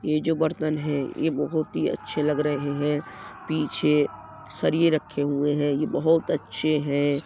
ये जो बर्तन हैं ये बहोत ही अच्छे लग रहे हैं। पीछे सरिये रखे हुए हैं। ये बहोत अच्छे हैं।